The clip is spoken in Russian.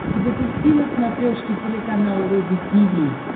запусти на смотрешке телеканал рубль ти ви